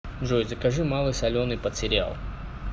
джой закажи малый соленый под сериал